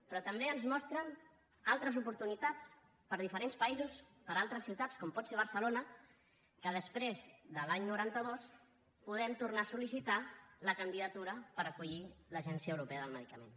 però també ens mostren altres oportunitats per a diferents països per a altres ciutats com pot ser barcelona que després de l’any noranta dos podem tornar a sol·licitar la candidatura per acollir l’agència europea del medicament